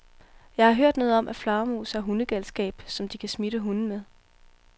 Jeg har hørt noget om, at flagermus har hundegalskab, som de kan smitte hunde med.